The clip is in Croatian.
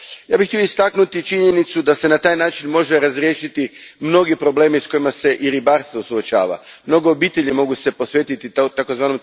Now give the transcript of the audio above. Ja bih htio istaknuti činjenicu da se na taj način mogu razriješiti mnogi problemi s kojima se i ribarstvo suočava, mnoge obitelji mogu se posvetiti tzv.